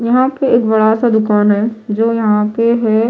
यहां पे एक बड़ा सा दुकान है जो यहां पे होय--